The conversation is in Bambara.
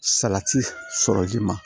Salati sɔrɔli ma